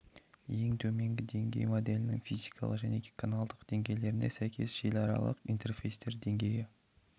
ең төменгі деңгей моделінің физикалық және каналдық деңгейлеріне сәйкес желіаралық интерфейстер деңгейі